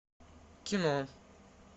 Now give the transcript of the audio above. кино